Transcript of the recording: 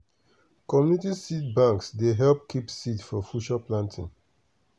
community seed banks dey help keep seed for future planting.